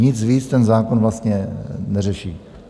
Nic víc ten zákon vlastně neřeší.